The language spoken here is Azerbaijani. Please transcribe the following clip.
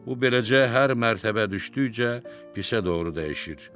Bu beləcə hər mərtəbə düşdükcə pisə doğru dəyişir.